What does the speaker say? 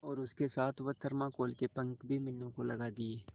और उसके साथ वह थर्माकोल के पंख भी मीनू को लगा दिए